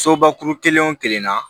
Sobakuru kelen o kelen na